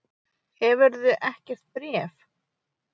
Hefurðu ekkert bréf?